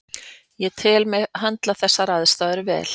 Ég tel mig höndla þessar aðstæður vel.